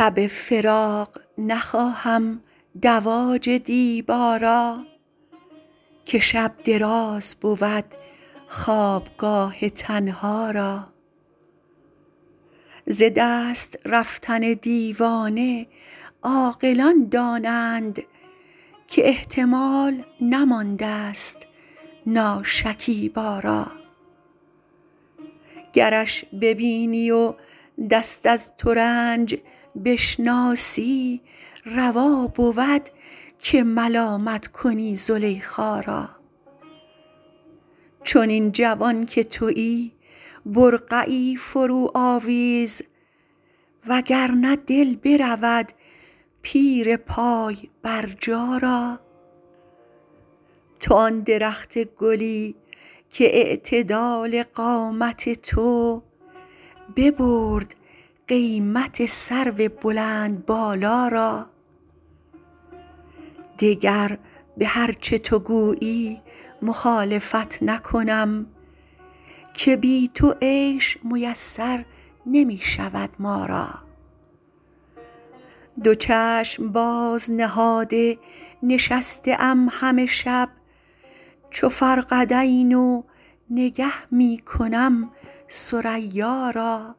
شب فراق نخواهم دواج دیبا را که شب دراز بود خوابگاه تنها را ز دست رفتن دیوانه عاقلان دانند که احتمال نماندست ناشکیبا را گرش ببینی و دست از ترنج بشناسی روا بود که ملامت کنی زلیخا را چنین جوان که تویی برقعی فروآویز و گر نه دل برود پیر پای برجا را تو آن درخت گلی کاعتدال قامت تو ببرد قیمت سرو بلندبالا را دگر به هر چه تو گویی مخالفت نکنم که بی تو عیش میسر نمی شود ما را دو چشم باز نهاده نشسته ام همه شب چو فرقدین و نگه می کنم ثریا را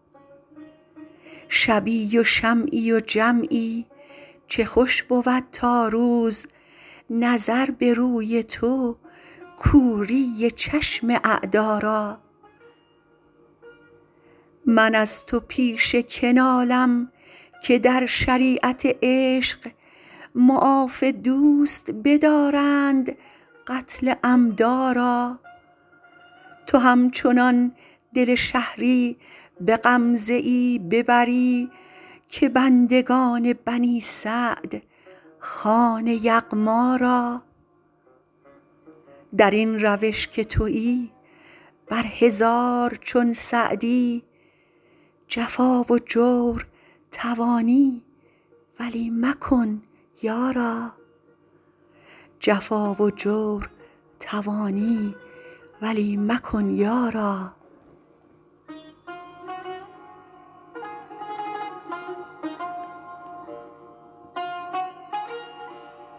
شبی و شمعی و جمعی چه خوش بود تا روز نظر به روی تو کوری چشم اعدا را من از تو پیش که نالم که در شریعت عشق معاف دوست بدارند قتل عمدا را تو همچنان دل شهری به غمزه ای ببری که بندگان بنی سعد خوان یغما را در این روش که تویی بر هزار چون سعدی جفا و جور توانی ولی مکن یارا